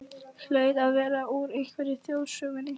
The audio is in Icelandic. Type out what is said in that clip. Hlaut að vera úr einhverri þjóðsögunni.